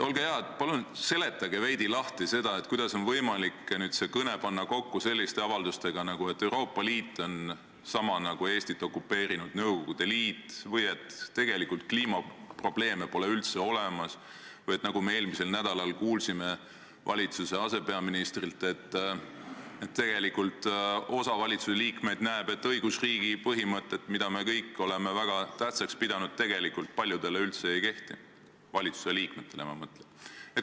Olge hea, palun seletage veidi lahti, kuidas on võimalik panna see kõne kokku selliste avaldustega, et Euroopa Liit on sama nagu Eestit okupeerinud Nõukogude Liit või et kliimaprobleeme pole üldse olemas või nagu me eelmisel nädalal kuulsime valitsuse asepeaministrilt, et osa valitsuse liikmeid näeb, et õigusriigi põhimõtted, mida me kõik oleme väga tähtsaks pidanud, tegelikult paljude arvates üldse ei kehti, valitsuse liikmete arvates, ma mõtlen.